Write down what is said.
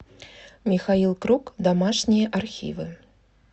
михаил круг домашние архивы